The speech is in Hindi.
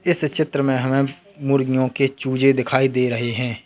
इस चित्र में हमें मुर्गियों के चूजे दिखाई दे रहे हैं।